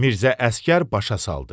Mirzə Əsgər başa saldı.